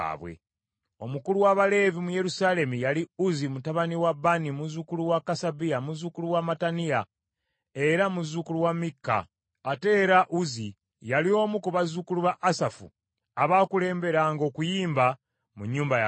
Omukulu w’Abaleevi mu Yerusaalemi yali Uzzi mutabani wa Baani, muzzukulu wa Kasabiya, muzzukulu wa Mattaniya, era muzzukulu wa Mikka. Ate era Uzzi yali omu ku bazzukulu ba Asafu, abaakulemberanga okuyimba mu nnyumba ya Katonda.